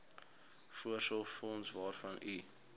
voorsorgsfonds waarvan u